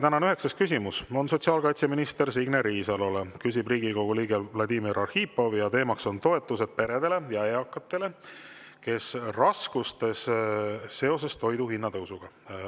Tänane üheksas küsimus on sotsiaalkaitseminister Signe Riisalole, küsib Riigikogu liige Vladimir Arhipov ja teema on toetused peredele ja eakatele, kes on raskustes seoses toidu hinna tõusuga.